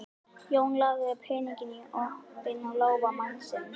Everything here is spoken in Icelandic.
Jón lagði peninginn í opinn lófa mannsins.